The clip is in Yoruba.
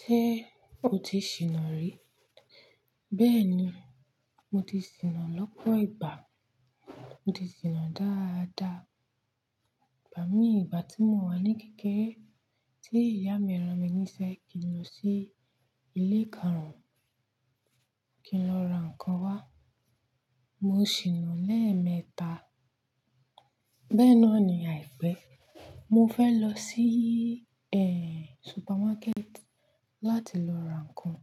Ṣé o ti sìnà rí? Bẹ́ẹ̀ni, mo ti sìnà lọ́pọ̀ ìgbà. Mo ti sìnà dáadáa. Igbà mí ìgbà tí mo wà ní kékeré, tí ìyá mi rán mi níṣẹ́ kí n lọ sí ilé karuǹ kí n lọ ra ǹkan wá, mo ṣìnà lẹ́ẹ̀mẹta. Bẹ́ẹ̀ náà ni àìpẹ́, mo fẹ́ lọ sí supermarket láti lọ ra ǹkan.